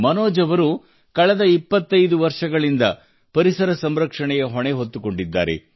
ಮನೋಜ್ ಅವರು ಕಳೆದ ಇಪ್ಪತ್ತೈದು ವರ್ಷಗಳಿಂದ ಪರಿಸರ ಸಂರಕ್ಷಣೆಯ ಹೊಣೆ ಹೊತ್ತುಕೊಂಡಿದ್ದಾರೆ